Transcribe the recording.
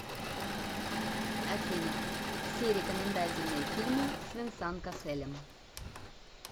афина все рекомендательные фильмы с венсан касселем